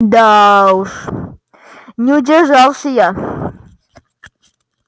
да уж не удержался я